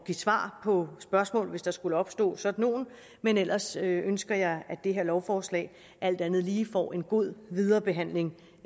svar på spørgsmål hvis der skulle opstå sådan nogle men ellers ønsker jeg at det her lovforslag alt andet lige får en god videre behandling